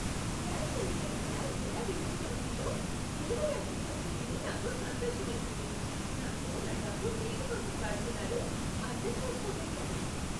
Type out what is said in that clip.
Gas cylinder ధర ఎలా విభజన అవుతుందో డెలివరీ అతను చెప్తే విని నాకు సంతోషమేసింది. దాంతో నా డబ్బు వేటికోసం వాడుతున్నారో అర్థం చేసుకోగలిగాను.